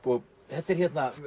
þetta er